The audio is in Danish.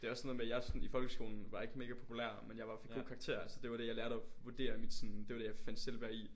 Det er også sådan noget med jeg sådan i folkeskolen var ikke mega populær men jeg var fik gode karakterer så det var det jeg lærte at og vurderer mit sådan det var det jeg fandt selvværd i